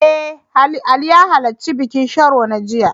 Eh, Ali ya halarci bikin Sharo na jiya.